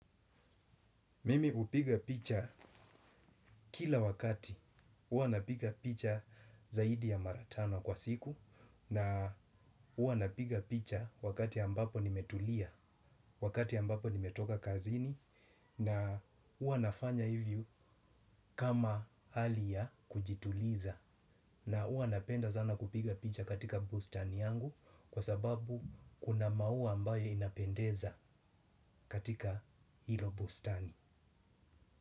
Mimi hupiga picha kila wakati huwa napiga picha zaidi ya mara tano kwa siku na, huwa napiga picha wakati ambapo nimetulia, wakati ambapo nimetoka kazini na, huwa nafanya hivyo kama hali ya kujituliza na huwa napenda zana kupiga picha katika bustani yangu kwa sababu kuna maua ambayo inapendeza katika hilo bustani.